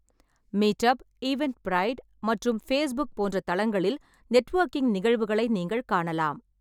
Meetup, Eventbrite மற்றும் Facebook போன்ற தளங்களில் நெட்வொர்க்கிங் நிகழ்வுகளை நீங்கள் காணலாம்.